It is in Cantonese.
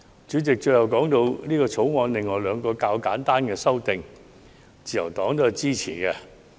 主席，最後，我想談談《條例草案》另外兩項較為簡單的修訂，自由黨對此亦表示支持。